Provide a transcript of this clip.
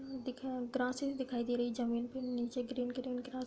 दिख है ग्रससेस दिखाई दे रही है जमीन पे नीचे ग्रीन ग्रीन --